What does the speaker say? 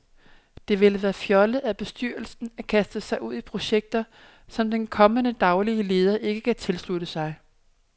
Det ville være fjollet af bestyrelsen at kaste sig ud i projekter, som den kommende daglige leder ikke kan tilslutte sig.